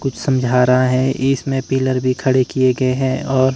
कुछ समझा रहा है ये इसमें पिलर भी खड़े किए गए हैं और--